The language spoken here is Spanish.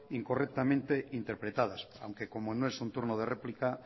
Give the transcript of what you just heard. incorrectamente interpretadas aunque como no es un turno de réplica